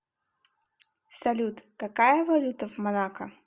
салют какая валюта в монако